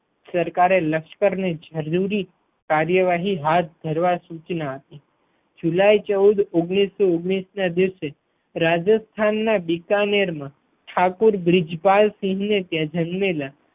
સરકારે લશ્કર ને જરૂરી કાર્યવાહી હાથ ધરવા સુચના આપી જુલાઈ ચૌદ ઓગણીસો ઓગણીસ ના દિવસે રાજસ્થાન ના બિકાનેર માં ઠાકોર બ્રિજપાલ સિંહ ને ત્યાં જન્મેલા